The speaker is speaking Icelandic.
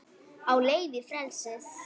Á leið í frelsið